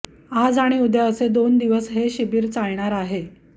आज आणि उद्या असे दोन दिवस हे शिबीर चालणार आहे